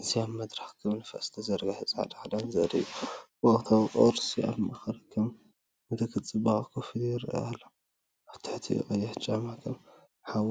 እዚ ኣብ መድረኽ ከም ንፋስ ዝተዘርግሐ ጻዕዳ ክዳን ዘርኢ እዩ። ወርቃዊ ቅርጺ ኣብ ማእከል ከም ምልክት ጽባቐ ኮፍ ኢሉ ይረአ ኣሎ። ኣብ ትሕቲኡ ቀይሕ ጫማ ከም ሓዊ